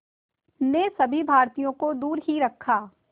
ने सभी भारतीयों को दूर ही रखा